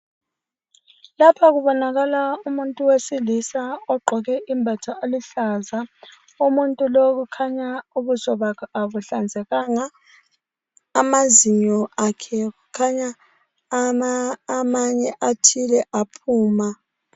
Lapha kubonakala umuntu wesilisa ogqoke imbatha eluhlaza umuntu lowu kukhanya ubuso bakhe abuhlanzekanga, amazinyo akhe kukhanya amanye athile aphuma.